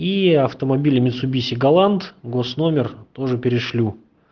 и автомобили митсубиси галант госномер тоже перешлю